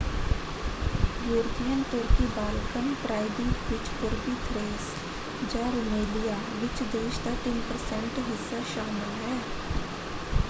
European ਤੁਰਕੀ Balkan ਪ੍ਰਾਇਦੀਪ ਵਿੱਚ ਪੂਰਬੀ ਥਰੇਸ ਜਾਂ ਰੁਮੇਲੀਆ ਵਿੱਚ ਦੇਸ਼ ਦਾ 3% ਹਿੱਸਾ ਸ਼ਾਮਲ ਹੈ।